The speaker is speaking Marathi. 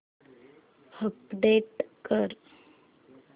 अपडेट कर